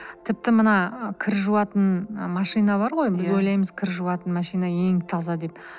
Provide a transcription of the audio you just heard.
тіпті мына ы кір жуатын машина бар ғой біз ойлаймыз кір жуатын машина ең таза деп